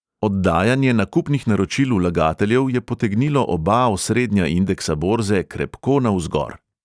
Oddajanje nakupnih naročil vlagateljev je potegnilo oba osrednja indeksa borze krepko navzgor.